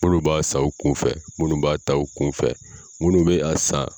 Munnu b'a san u kunfɛ munnu b'a ta u kunfɛ munnu bɛ a san